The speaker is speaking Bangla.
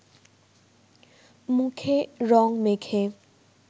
মুখে রঙ মেখে